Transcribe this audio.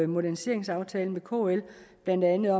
moderniseringsaftalen med kl blandt andet